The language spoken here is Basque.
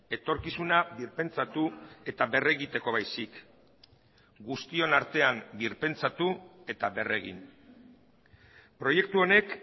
etorkizuna birpentsatu eta berregiteko baizik guztion artean birpentsatu eta berregin proiektu honek